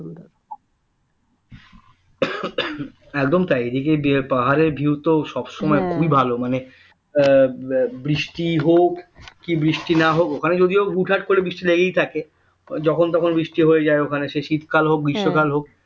একদম তাই এইদিকে পাহাড়ের view তো সবসময় খুবই ভালো মানে বৃষ্টি হোক কি বৃষ্টি না হোক ওখানে যদিও হুটহাট করে বৃষ্টি লেগেই থাকে যখন তখন বৃষ্টি হয়ে যাই ওখানে সে শীতকাল হোক গ্রীষ্মকাল হোক